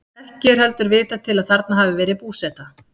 Ekki er heldur vitað til að þarna hafi verið búseta.